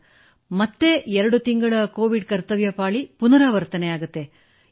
ಪುನಃ ಎರಡು ತಿಂಗಳ ಬಳಿಕ ಕೋವಿಡ್ ಕರ್ತವ್ಯಪಾಳಿ ಪುನರಾವರ್ತನೆಯಾಗುತ್ತದೆ ಸರ್